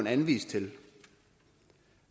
anvist til